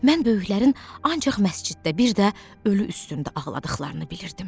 Mən böyüklərin ancaq məsciddə, bir də ölü üstündə ağladıqlarını bilirdim.